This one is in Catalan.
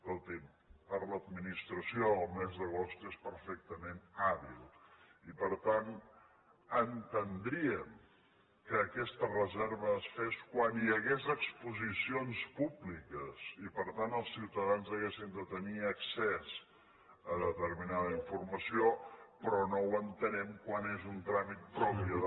escolti’m per l’administració el mes d’agost és perfectament hàbil i per tant entendríem que aquesta reserva es fes quan hi hagués exposicions públiques i per tant els ciutadans haguessin de tenir accés a determinada informació però no ho entenem quan és un tràmit propi de